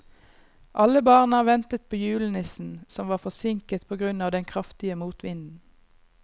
Alle barna ventet på julenissen, som var forsinket på grunn av den kraftige motvinden.